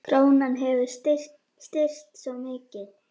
Krónan hafi styrkst svo mikið.